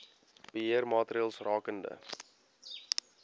beheer maatreëls rakende